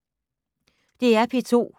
DR P2